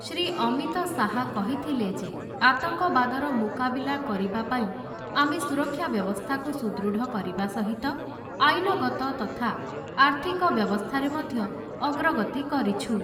ଶ୍ରୀ ଅମିତ ଶାହା କହିଥିଲେ ଯେ, ଆତଙ୍କବାଦର ମୁକାବିଲା କରିବା ପାଇଁ ଆମେ ସୁରକ୍ଷା ବ୍ୟବସ୍ଥାକୁ ସୁଦୃଢ଼ କରିବା ସହିତ ଆଇନଗତ ତଥା ଆର୍ଥିକ ବ୍ୟବସ୍ଥାରେ ମଧ୍ୟ ଅଗ୍ରଗତି କରିଛୁ ।